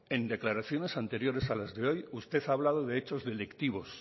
en declaraciones anteriores a las de hoy usted ha hablado de hechos delictivos